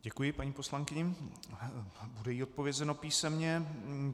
Děkuji paní poslankyni, bude jí odpovězeno písemně.